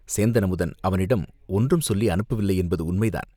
சேந்தன் அமுதன் அவனிடம் ஒன்றும் சொல்லி அனுப்பவில்லை என்பது உண்மைதான்.